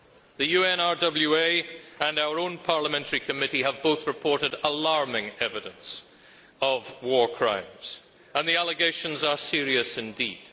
The UNRWA and our own parliamentary committee have both reported alarming evidence of war crimes, and the allegations are serious indeed.